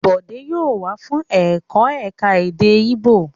Bòdé yóò wá fún ẹ̀kọ́ èdè Íbò!